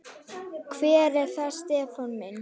Hver er það Stefán minn?